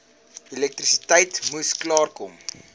elektrisiteit moes klaarkom